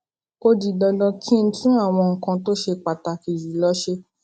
ó di dandan kí n tún àwọn nǹkan tó ṣe pàtàkì jù lọ ṣe